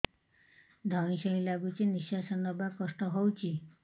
ଧଇଁ ସଇଁ ଲାଗୁଛି ନିଃଶ୍ୱାସ ନବା କଷ୍ଟ ହଉଚି